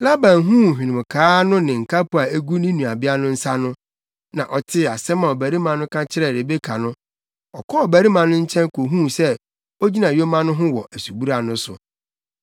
Laban huu hwenemkaa no ne nkapo a egu ne nuabea no nsa no, na ɔtee asɛm a ɔbarima no ka kyerɛɛ Rebeka no, ɔkɔɔ ɔbarima no nkyɛn kohuu sɛ ogyina yoma no ho wɔ asubura no so.